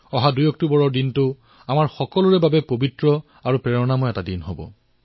২ October আমাৰ সকলোৰে বাবে পবিত্ৰ আৰু অনুপ্ৰেৰণাদায়ী দিন